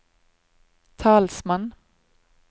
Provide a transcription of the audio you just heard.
talsmann